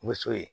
Muso ye